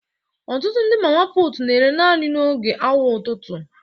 Ọtụtụ ndị mama putu na-ere naanị n'oge awa ụtụtụ